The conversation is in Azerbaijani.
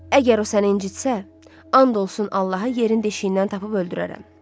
Əgər o səni incitsə, and olsun Allaha yerin deşiyindən tapıb öldürərəm.